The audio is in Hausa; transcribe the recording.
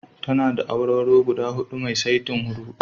Tana da awarwaro guda huɗu mai saitin hurhuɗu.